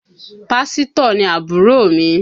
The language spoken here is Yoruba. Pásítọ̀ ni àbúrò mi